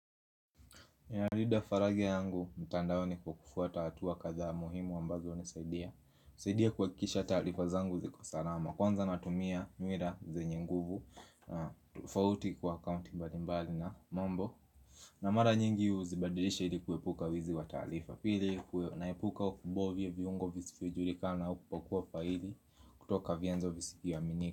Ninalida faragi yangu, mtandaoni kwa kufuata hatuwa kadhaa muhimu ambazo hunisaidia. Nisaidia kuhakikisha talifa zangu ziko salama. Kwanza natumia nwira zenye nguvu. Fauti kwa account mbali mbali na mambo. Na mara nyingi uzibadilisha ili kuepuka wizi wa talifa. Pili, kunaipuka ukubo vya viungo vizifujulika na ukupokuwa faili. Kutoka vienzo viziki wa miniku.